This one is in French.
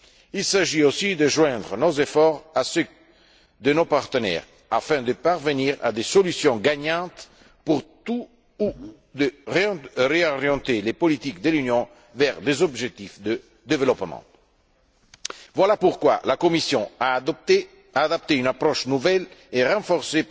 Il s'agit aussi de joindre nos efforts à ceux de nos partenaires afin de parvenir à des solutions gagnantes pour réorienter les politiques de l'Union vers des objectifs de développement. Voilà pourquoi la Commission a adopté une approche nouvelle et renforcée